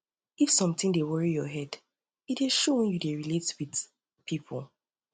if sometin dey worry your head e dey show wen you dey relate wit dey relate wit pipo